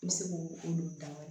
I bɛ se k'o olu dangan